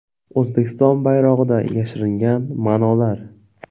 O‘zbekiston bayrog‘ida yashiringan ma’nolar.